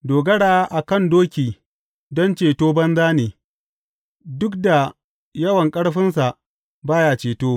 Dogara a kan doki don ceto banza ne; duk da yawan ƙarfinsa ba ya ceto.